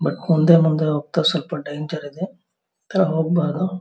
But ಮುಂದೆ ಮುಂದೆ ಹೋಗ್ತಾ ಸ್ವಲ್ಪ ಡೇಂಜರ್ ಇದೆ ಹೋಗ್ಬಾರ್ದು.